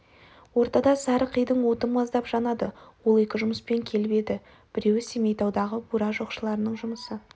ортада сары қидың оты маздап жанады ол екі жұмыспен келіп еді біреуі семейтаудағы бура жоқшыларының жұмысы